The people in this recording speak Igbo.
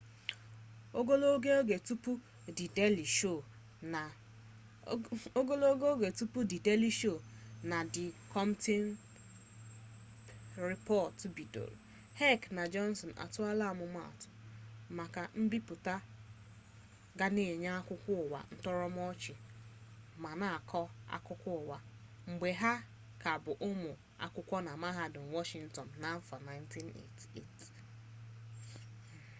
ogologo oge tupu di deeli sho na di kolbet rịpọt ebido heck na johnson atụọla atụmatụ maka mbipụta ga na-enye akụkọụwa ntọrọmọchị ma na-akọ akụkọụwa mgbe ha ka bụ ụmụ akwụkwọ na mahadum washịntịn n'afọ 1988